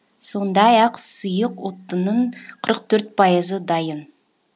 сондай ақ сұйық отынның қырық төрт пайызы дайын